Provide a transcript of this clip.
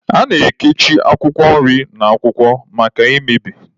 A na-ekichi akwụkwọ nri na akwụkwọ maka mmebi.